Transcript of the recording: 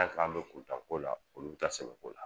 An' k'an bɛ kuntan ko la olu taa sɛbɛ ko la.